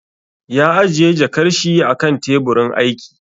Ya ajiye jakar shi a kan teburin aiki